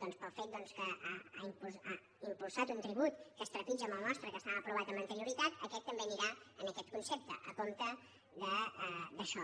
pel fet que ha impulsat un tribut que es trepitja amb el nostre que estava aprovat amb anterioritat aquest també anirà en aquest concepte a compte d’això